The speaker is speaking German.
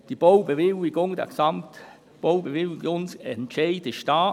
Diese beziehungsweise der Gesamtbaubewilligungsentscheid liegt vor.